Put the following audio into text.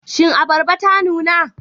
Shin abarba ta nuna?